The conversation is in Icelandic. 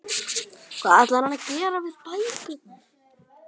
Hvað ætlaði hann að gera við bækurnar?